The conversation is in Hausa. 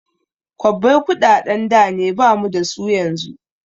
Kwabbai kuɗaɗen da ne bamu dasu yanzu